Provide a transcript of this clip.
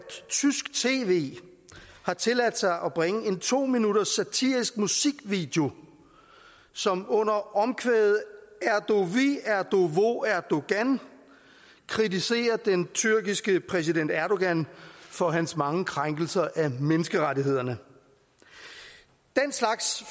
tysk tv har tilladt sig at bringe en to minutters satirisk musikvideo som under omkvædet erdovi erdovo erdogan kritiserer den tyrkiske præsident erdogan for hans mange krænkelser af menneskerettighederne den slags